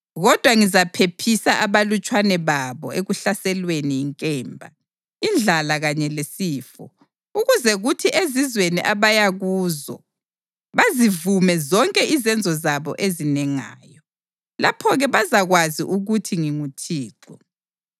Kodwa ngizaphephisa abalutshwana babo ekuhlaselweni yinkemba, indlala kanye lesifo, ukuze kuthi ezizweni abaya kuzo bazivume zonke izenzo zabo ezinengayo. Lapho-ke bazakwazi ukuthi nginguThixo.”